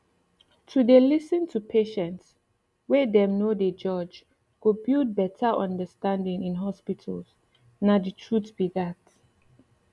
to dey lis ten to patients wey dem no dey judge go build better understanding in hospitals nah the truth be dat